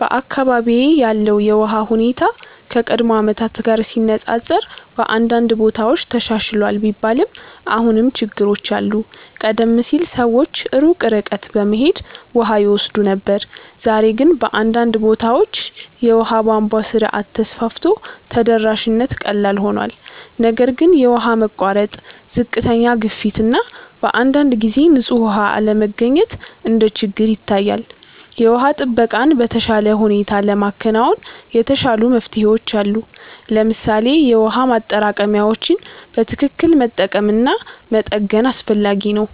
በአካባቢዬ ያለው የውሃ ሁኔታ ከቀድሞ ዓመታት ጋር ሲነፃፀር በአንዳንድ ቦታዎች ተሻሽሏል ቢባልም አሁንም ችግሮች አሉ። ቀደም ሲል ሰዎች ሩቅ ርቀት በመሄድ ውሃ ይወስዱ ነበር፣ ዛሬ ግን በአንዳንድ ቦታዎች የውሃ ቧንቧ ስርዓት ተስፋፍቶ ተደራሽነት ቀላል ሆኗል። ነገር ግን የውሃ መቋረጥ፣ ዝቅተኛ ግፊት እና በአንዳንድ ጊዜ ንጹህ ውሃ አለመገኘት እንደ ችግር ይታያል። የውሃ ጥበቃን በተሻለ ሁኔታ ለማከናወን የተሻሉ መፍትሄዎች አሉ። ለምሳሌ የውሃ ማጠራቀሚያዎችን በትክክል መጠቀም እና መጠገን አስፈላጊ ነው።